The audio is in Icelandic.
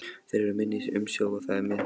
Þeir eru í minni umsjá og það með réttu.